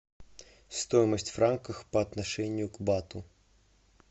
стоимость франков по отношению к бату